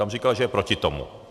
Tam říkal, že je proti tomu.